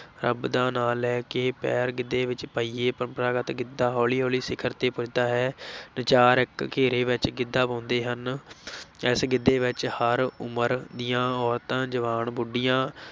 ਰੱਬ ਦਾ ਨਾ ਲੈ ਕੇ ਪੈਰ ਗਿੱਧੇ ਵਿੱਚ ਪਾਈਏ, ਪਰੰਪਰਾਗਤ ਗਿੱਧਾ ਹੌਲੀ-ਹੌਲੀ ਸਿਖਰ ਤੇ ਪੁੱਜਦਾ ਹੈ ਨਚਾਰ ਇੱਕ ਘੇਰੇ ਵਿੱਚ ਗਿੱਧਾ ਪਾਉਂਦੇ ਹਨ ਇਸ ਗਿੱਧੇ ਵਿੱਚ ਹਰ ਉਮਰ ਦੀਆਂ ਔਰਤਾਂ, ਜਵਾਨ, ਬੁੱਢੀਆਂ,